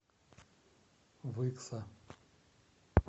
выкса